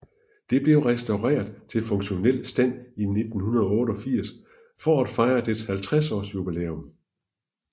Det blev restaureret til funktionel stand i 1988 for at fejre dets 50 års jubilæum